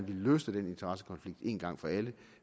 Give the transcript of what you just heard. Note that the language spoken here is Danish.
vi løste den interessekonflikt en gang for alle